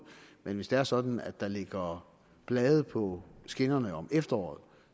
men hvis det er sådan at der ligger blade på skinnerne om efteråret